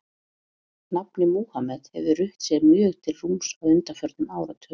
Nafnið Múhameð hefur rutt sér mjög til rúms á undanförnum áratugum.